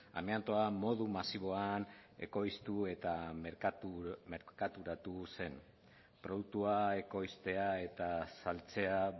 amiantoa modu masiboan ekoiztu eta merkaturatu zen produktua ekoiztea eta saltzea